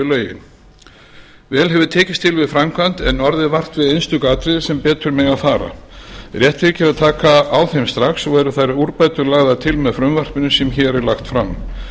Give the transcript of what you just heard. vel hefur tekist til við framkvæmd en orðið vart við einstök atriði sem betur mega fara rétt þykir að taka á þeim strax og eru þær úrbætur lagðar til með frumvarpinu sem hér er lagt fram